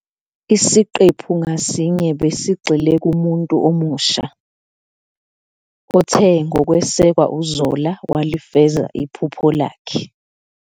Isiqephu ngasinye besigxile kumuntu omusha, othe ngokwesekwa uZola walifeza iphupho lakhe.